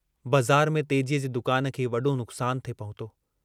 बज़ार में तेजीअ जे दुकान खे वडो नुकसानु थे पहुतो।